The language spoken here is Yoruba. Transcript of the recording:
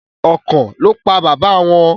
akàn lọ pá baba wón.